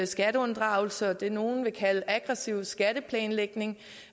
skatteunddragelse og det nogle vil kalde aggressiv skatteplanlægning